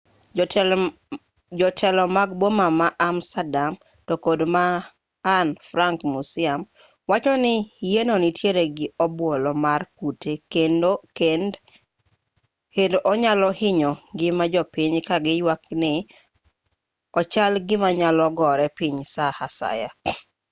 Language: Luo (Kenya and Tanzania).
jotelo mag boma ma amsterdam to kod ma anne frank museum wacho ni yienno nitiere gi obuolo mar kute kend onyalo hinyo ngima jopiny ka giywak ni ochal gima nyalo gore piny saa asaya